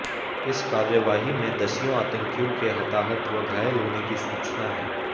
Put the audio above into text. इस कार्यवाही में दसियों आतंकियों के हताहत व घायल होने की सूचना है